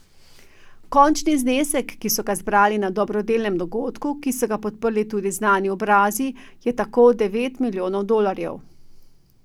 Končni znesek, ki so ga zbrali na dobrodelnem dogodku, ki so ga podprli tudi znani obrazi, je tako devet milijonov dolarjev.